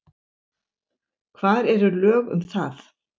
Hvar eru lög um það?